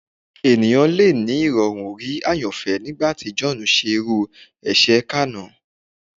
Ẹnikan le ni irọrun rii ayanfẹ nigbati John ṣe iru ẹṣẹ kanna